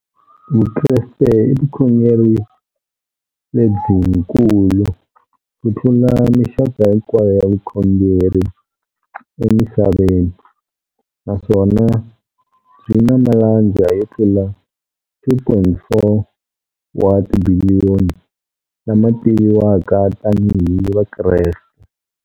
Vukreste i vukhongeri lebyikulu kutlula mixaka hinkwayo ya vukhongeri emisaveni, naswona byi na malandza yo tlula 2.4 wa tibiliyoni, la ma tiviwaka tani hi Vakreste.